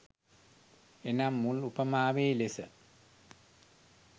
එනම් මුල් උපමාවේ ලෙස